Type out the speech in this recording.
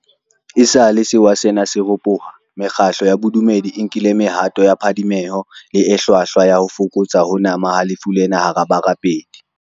Esale sewa sena se ropoha, mekgatlo ya bo dumedi e nkile mehato ya phadimeho le e hlwahlwa ya ho fokotsa ho nama ha lefu lena hara barapedi.